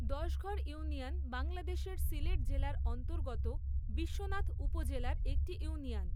Dashghar union বাংলাদেশের সিলেট জেলার অন্তর্গত বিশ্বনাথ উপজেলার একটি ইউনিয়ন।